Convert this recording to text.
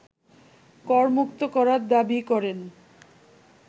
করমুক্ত করার দাবি করেন